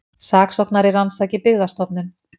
Saksóknari rannsaki Byggðastofnun